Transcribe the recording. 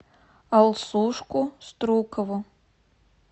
алсушку струкову